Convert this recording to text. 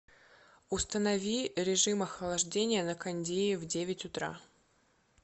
установи режим охлаждения на кондее в девять утра